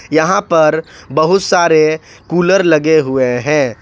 यहां पर बहुत सारे कूलर लगे हुए हैं।